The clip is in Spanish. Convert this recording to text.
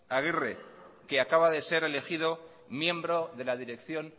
agirre que acaba de ser elegido miembro de la dirección